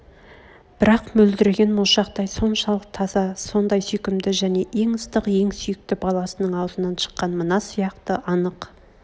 бірақ мөлдіреген моншақтай соншалық таза сондай сүйкімді және ең ыстық ең сүйкті баласының аузынан шыққан мына сияқты анық